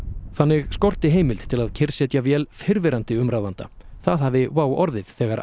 þannig skorti heimild til að kyrrsetja vél fyrrverandi umráðanda það hafi WOW orðið þegar